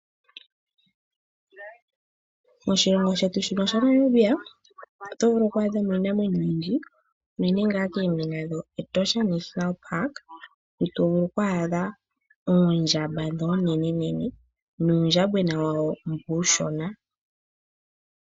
Moshilongo shetu shino shaNamibia oto vulu oku adha mo iinamwenyo oyindji unene ngaa koombinga dhEtosha National Park mu to vulu oku adha oondjamba ndhi oonenenene nuundjambwena wawo mbu uushona.